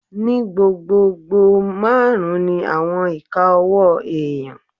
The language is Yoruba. Ní gbogbogbò, máàrún ni àwọn ìka ọwọ́ èèyàn